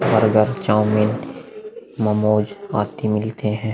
Burger chowmein momos आदि मिलते हैं।